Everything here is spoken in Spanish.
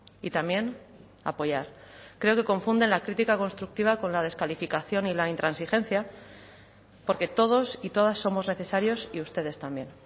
y también apoyar creo que confunden la crítica constructiva con la descalificación y la intransigencia porque todos y todas somos necesarios y ustedes también